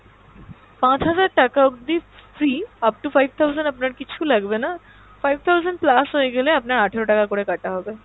পাঁচ হাজার টাকা অব্দি free up to five thousand আপনার কিছু লাগবেনা, five thousand plus হয়ে গেলে আপনার আঠেরো টাকা করে কাটা হবে।